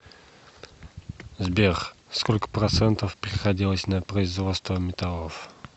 сбер сколько процентов приходилось на производство металлов